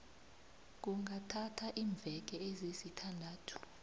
kungathatha iimveke ezisithandathu